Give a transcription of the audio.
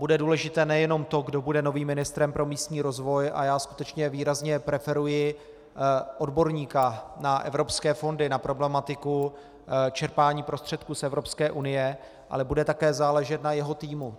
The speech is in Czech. Bude důležité nejenom to, kdo bude novým ministrem pro místní rozvoj, a já skutečně výrazně preferuji odborníka na evropské fondy, na problematiku čerpání prostředků z Evropské unie, ale bude také záležet na jeho týmu.